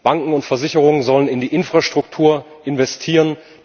Banken und Versicherungen sollen in die Infrastruktur investieren.